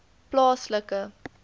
plaaslike